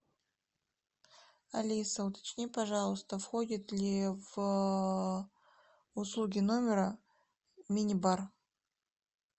алиса уточни пожалуйста входит ли в услуги номера мини бар